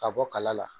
Ka bɔ kala la